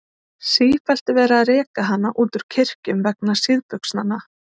Sífellt er verið að reka hana út úr kirkjum vegna síðbuxnanna.